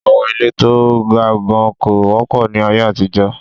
Àwọn ilé to ga gan kò wọ́pọ̀ ní aye àtijọ́.